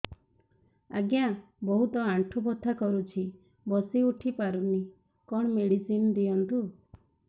ଆଜ୍ଞା ବହୁତ ଆଣ୍ଠୁ ବଥା କରୁଛି ବସି ଉଠି ପାରୁନି କଣ ମେଡ଼ିସିନ ଦିଅନ୍ତୁ